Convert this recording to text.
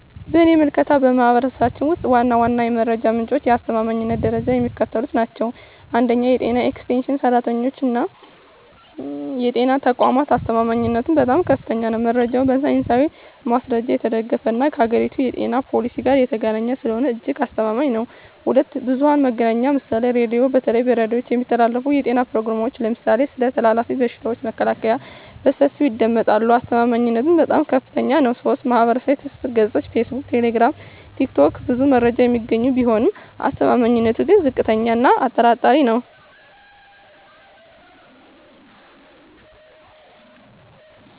በእኔ ምልከታ፣ በማኅበረሰባችን ውስጥ ዋና ዋናዎቹ የመረጃ ምንጮችና የአስተማማኝነት ደረጃቸው የሚከተሉት ናቸው፦ 1. የጤና ኤክስቴንሽን ሠራተኞችና የጤና ተቋማት አስተማማኝነቱም በጣም ከፍተኛ ነው። መረጃው በሳይንሳዊ ማስረጃ የተደገፈና ከአገሪቱ የጤና ፖሊሲ ጋር የተገናኘ ስለሆነ እጅግ አስተማማኝ ነው። 2. ብዙኃን መገናኛ ምሳሌ ራዲዮ:- በተለይ በሬዲዮ የሚተላለፉ የጤና ፕሮግራሞች (ለምሳሌ ስለ ተላላፊ በሽታዎች መከላከያ) በሰፊው ይደመጣሉ። አስተማማኝነቱም በጣም ከፍታኛ ነው። 3. ማኅበራዊ ትስስር ገጾች (ፌስቡክ፣ ቴሌግራም፣ ቲክቶክ) ብዙ መረጃ የሚገኝ ቢሆንም አስተማማኝነቱ ግን ዝቅተኛ እና አጠራጣሪ ነው።